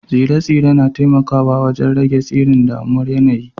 Tsire-tsire na taimakawa wajen rage tasirin dumamar yanayi